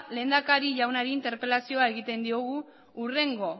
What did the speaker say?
lehendakari jaunari interpelazioa egiten diogu hurrengo